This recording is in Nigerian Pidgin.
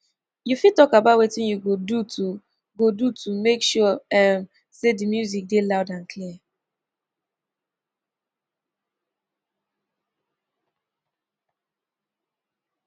you fit talk about wetin you go do to go do to make sure um say di music dey loud and clear